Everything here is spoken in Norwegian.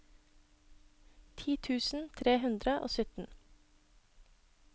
ti tusen tre hundre og sytten